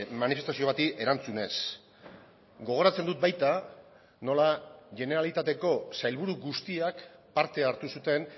manifestazio bati erantzunez gogoratzen dut baita nola generalitateko sailburu guztiak parte hartu zuten